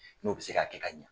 N'o bɛ se k'a kɛ ka ɲɛ.